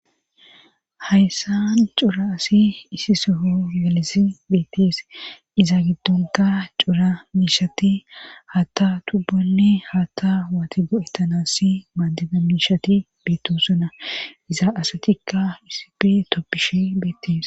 hayssan cura asi isi soho yalesi beettees iza giddonka cura miishati haatta tubbonne haatta waati go7ettanassi maaddida miishati beetto sona iza asatikka isipi toppishe beettees